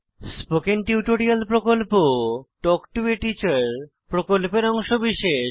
spoken tutorial প্রকল্প talk to a teacher প্রকল্পের অংশবিশেষ